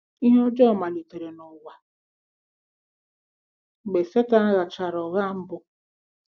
Ihe ọjọọ malitere n’ụwa mgbe Setan ghachara ụgha mbụ.